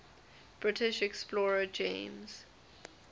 british explorer james